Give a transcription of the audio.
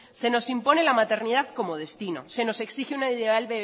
se nos impone la maternidad como destino se nos exige un ideal